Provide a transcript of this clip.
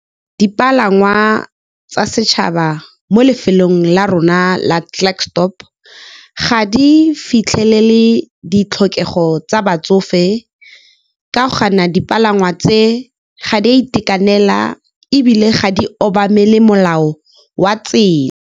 Dipalangwa tsa setšhaba mo lefelong la rona la Klerksdorp ga di fitlhelele ditlhokego tsa batsofe, ka gonne dipalangwa tse ga di a itekanela, ebile ga di obamele molao wa tsela.